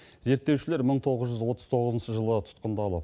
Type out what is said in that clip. зерттеушілер мың тоғыз жүз отыз тоғызыншы жылы тұтқындалып